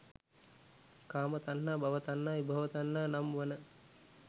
කාම තණ්හා, භව තණ්හා විභව තන්හා නම් වන